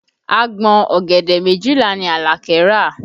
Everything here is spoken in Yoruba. Agbọ̀n ọ̀gẹ̀dẹ̀ méjìlá ni Alake rà